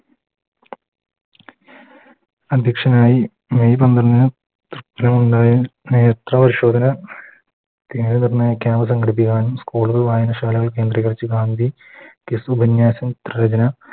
അധ്യക്ഷനായി May പന്ത്രണ്ടിന് നേത്ര പരിശോധന Camp സംഘടിപ്പിക്കാനും കൂടുതൽ വായനശാലകൾ കേന്ദ്രീകരിച്ച് ഗാന്ധി